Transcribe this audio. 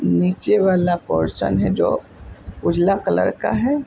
नीचे वाला पोर्शन है जो उजला कलर का है ।